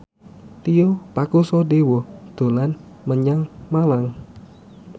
Tio Pakusadewo dolan menyang Malang